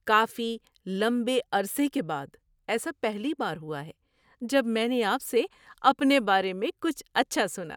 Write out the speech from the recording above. کافی لمبے عرصے کے بعد ایسا پہلی بار ہوا ہے جب میں نے آپ سے اپنے بارے میں کچھ اچھا سنا۔